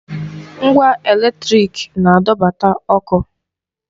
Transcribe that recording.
Ngwa èlétrị̀k na-adọbata ọkụ.